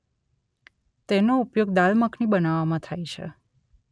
તેનો ઉપયોગ દાલ મખની બનાવવામાં થાય છે